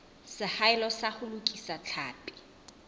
seahelo sa ho lokisa tlhapi